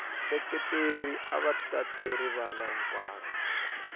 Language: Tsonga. vaseketeri ava tate rivala hinkwaro